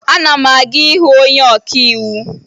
Ana m aga ịhụ onye ọkàiwu